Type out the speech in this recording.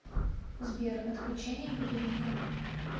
сбер отключение будильника